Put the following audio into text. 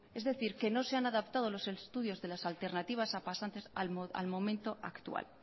es decir que no se han adaptado los estudios de las alternativas a pasantes al momento actual